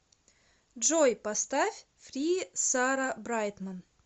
джой поставь фри сара брайтман